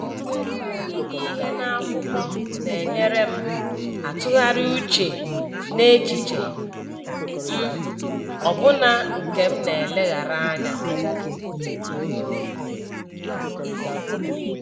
Ide ihe n’akwụkwọ na-enyere m atụgharị uche n’echiche m, ọbụna nke m na-eleghara anya.